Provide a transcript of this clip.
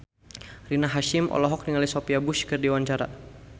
Rina Hasyim olohok ningali Sophia Bush keur diwawancara